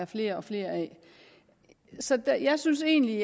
flere og flere af så jeg synes egentlig